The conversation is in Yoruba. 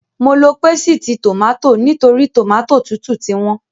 Mo lo pésìtì tòmátì nítorí tòmátì tútù ti wọ́n.